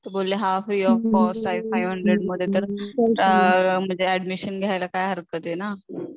तर बोलले, हा फ्री ऑफ कॉस्ट आहे फाइव हंड्रेड मध्ये, तर ऍडमिशन घ्यायला काय हरकत आहे ना